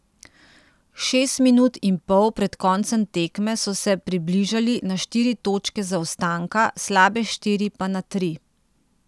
Šest minut in pol pred koncem tekme so se približali na štiri točke zaostanka, slabe štiri pa na tri.